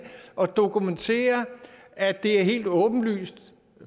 at dokumentere at det er helt åbenlyst